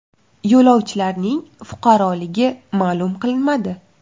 Yo‘lovchilarning fuqaroligi ma’lum qilinmadi.